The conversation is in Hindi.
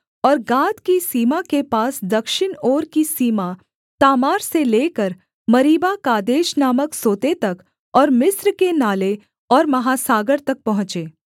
और गाद की सीमा के पास दक्षिण ओर की सीमा तामार से लेकर मरीबाकादेश नामक सोते तक और मिस्र के नाले और महासागर तक पहुँचे